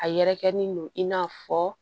A yɛrɛkɛlen don in n'a fɔ